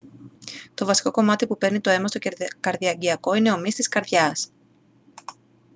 το βασικό κομμάτι που παίρνει το αίμα στο καρδιαγγειακό είναι ο μυς της καρδιάς